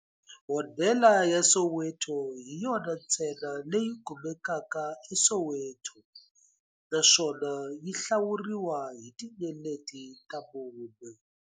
Hodela ya Soweto hi yona ntsena leyi kumekaka eSoweto, naswona yi hlawuriwa hi tinyeleti ta mune.